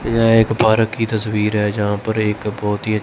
यह एक भारत की तस्वीर है जहां पर एक बहोत ही--